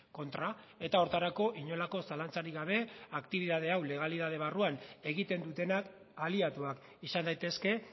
kontra eta horretarako inolako zalantzarik gabe aktibitate hau legalitate barruan egiten dutenak aliatuak izan daitezke